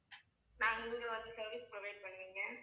service provide பண்ணுவீங்க